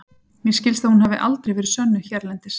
Mér skilst að hún hafi aldrei verið sönnuð hérlendis.